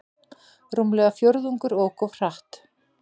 Rúmlega fjórðungur ók of hratt